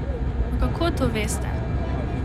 Pa kako to veste?